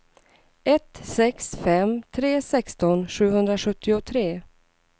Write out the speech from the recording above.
ett sex fem tre sexton sjuhundrasjuttiotre